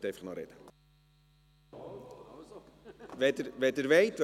Sie können einfach noch sprechen ... wenn Sie wollen.